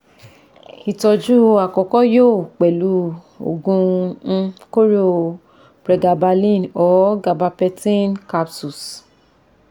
Ìtọ́jú àkọ́kọ́ yoo pẹ̀lú ògun um kóró o pregabalin or gabapentin capsules